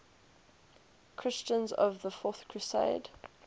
christians of the fourth crusade